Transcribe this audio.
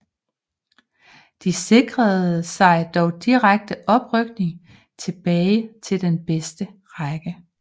De sikrede sig dog direkte oprykning tilbage til den bedste række